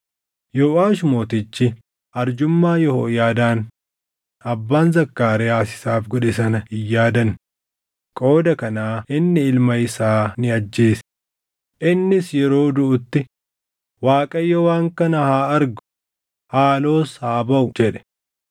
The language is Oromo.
Yooʼaash mootichi arjummaa Yehooyaadaan abbaan Zakkaariyaas isaaf godhe sana hin yaadanne; qooda kanaa inni ilma isaa ni ajjeese; innis yeroo duʼutti, “ Waaqayyo waan kana haa argu; haaloos haa baʼu” jedhe.